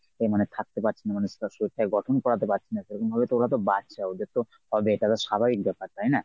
এ মানে থাকতে পারছি না শরীরটা গঠন করাতে পারছি না এরমভাবে ওরা তো বাচ্চা ওদের তো হবে কারণ স্বাভাবিক ব্যপার তাই না?